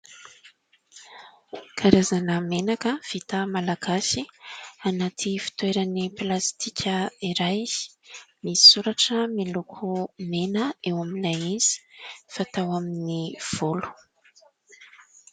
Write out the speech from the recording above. Karazana menaka vita malagasy anaty fitoerany plastika iray, misy soratra miloko mena eo aminy izay fatao amin'ny volo.